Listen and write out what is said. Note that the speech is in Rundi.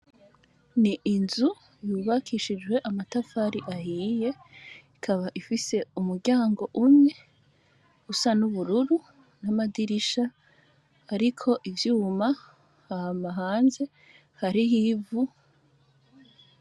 N'inzu yubakishije amatafari ahiye ikaba ifise umuryango umwe usa n'ubururu, n'amadirisha ariko ivyuma, hama hanze harih'ivu.